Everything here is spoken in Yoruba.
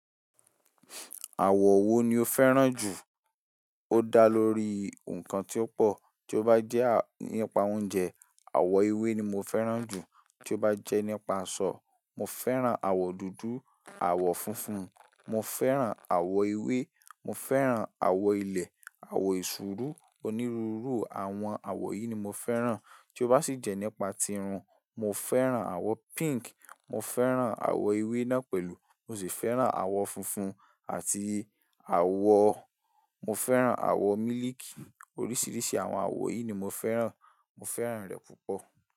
Àwọ̀ wo ni o fẹ́ràn jù? Ó dá lórí nǹkan tí ó pọ̀, tí ó bá jẹ́ nípa oúnjẹ, àwọ̀ ewé ni mo fẹ́ràn jù. Tí ó bá jẹ́ nípa aṣọ, mo fẹ́ràn àwọ̀ dúdú, àwọ̀ funfun, mo fẹ́ràn àwọ̀ ewé, mo fẹ́ràn àwọ̀ ilẹ̀, àwọ̀ eṣurú, onírúurú àwọn àwọ̀ yìí ni mo fẹ́ràn. Tí ó bá sì jẹ́ nípa tirun, mo fẹ́ràn àwọ̀ pink, mo fẹ́ràn àwọ̀ ewé náà pẹ̀lú mo sì fẹ́ràn àwọ̀ funfun àti àwọ̀-- mo fẹ́ràn àwọ̀ mílìkì. Oríṣiríṣi àwọn àwọ̀ yìí ni mo fẹ́ràn, mo fẹ́ràn rẹ̀ púpọ̀.